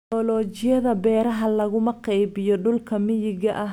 Tignoolajiyada beeraha laguma qaybiyo dhulka miyiga ah.